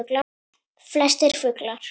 Flestir fuglar